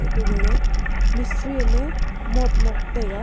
ato gaga mistri am e muat mok taiga.